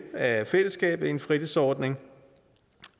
af fællesskabet i en fritidsordning